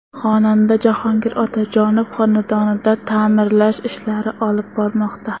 Xonanda Jahongir Otajonov xonadonida ta’mirlash ishlarini olib bormoqda.